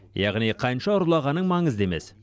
яғни қанша ұрлағаның маңызды емес